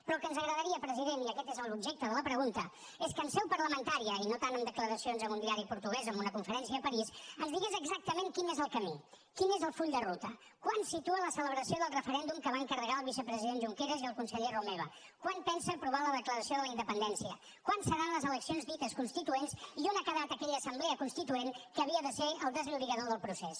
però el que ens agradaria president i aquest és l’objecte de la pregunta és que en seu parlamentària i no tant en declaracions a un diari portuguès o en una conferència a parís ens digués exactament quin és el camí quin és el full de ruta quan situa la celebració del referèndum que va encarregar al vicepresident junqueras i al conseller romeva quan pensa aprovar la declaració de la independència quan seran les eleccions dites constituents i on ha quedat aquella assemblea constituent que havia de ser el desllorigador del procés